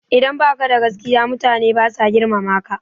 Idan baka da gaskiya mutane basa girmama ka